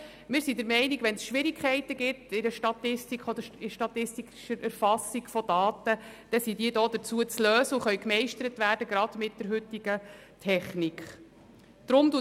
Wir sind der Meinung, dass Schwierigkeiten bei der statistischen Erfassung von Daten zu lösen sind und diese gerade mit der heutigen Technik gemeistert werden können.